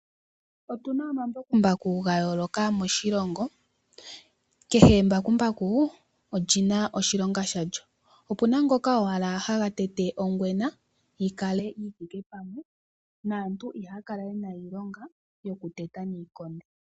Otu na omambakumbaku ga yooloka moshilongo. Kehe embakumbaku oli na oshilonga shalyo. Opu na ngoka owala haga tete ongwena, yi kale yi thike pamwe, naantu ihaa kala ye na iilonga